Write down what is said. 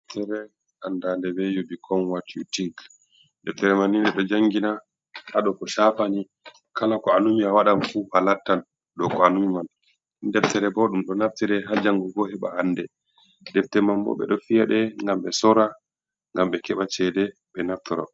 Deftere anndade be you become what you think, deftere manni ɗo jangina hado ko shafani kala ko anumi a wadan fu alattan dow ko anumi man, Deftere bo ɗum ɗo naftire ha jangugo heba ande, deftere manbo ɓeɗo fi'aɗe ngam ɓe sorra ngam ɓe keba chede ɓe naftora.